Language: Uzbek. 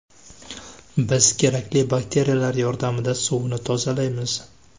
Biz kerakli bakteriyalar yordamida suvni tozalaymiz.